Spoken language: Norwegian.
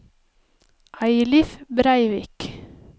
Eilif Breivik